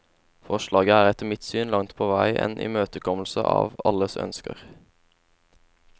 Forslaget er etter mitt syn langt på vei en imøtekommelse av alles ønsker.